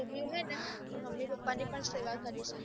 ચોક્રીયું હોઈ ને એ મમ્મી પપ્પા ની પણ સેવા કરીશ